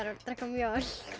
að drekka mjólk